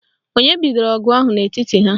Onye bidoro ọgụ ahụ n'etiti ha?